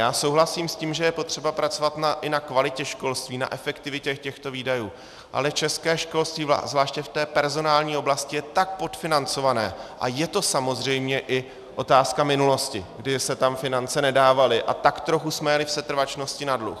Já souhlasím s tím, že je potřeba pracovat i na kvalitě školství, na efektivitě těchto výdajů, ale české školství zvláště v té personální oblasti je tak podfinancované a je to samozřejmě i otázka minulosti, kdy se tam finance nedávaly a tak trochu jsme jeli v setrvačnosti na dluh.